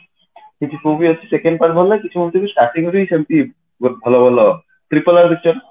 କିଛି movie ଅଛି second part ଭଲ ଲାଗେ କିଛି movie ଅଛି starting ରୁ ହିଁ ସେମିତି ବହୁତ ଭଲ ଭଲ RRR ଦେଖିଛ ନା